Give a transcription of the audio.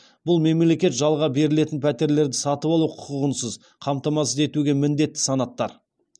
бұл мемлекет жалға берілетін пәтерлерді сатып алу құқығынсыз қамтамасыз етуге міндетті санаттар